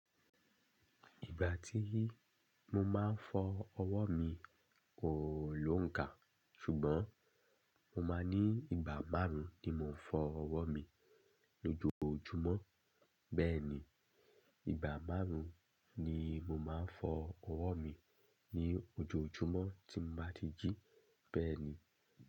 Ìgbà tí mo máa ń fọ ọwọ́ mi kò lóǹkà, ṣùgbọ́n mo máa ní ìgbà márùn-ún ni mo ń fọ ọwọ́ mi ní ojoojúmọ́. Bẹ́ẹ̀ ni, ìgbà márùn-ún ni mo máa ń fọ ọwọ́ mi ní ojoojúmọ́ tí mo bá tí jíí bẹ́ẹ̀ ni.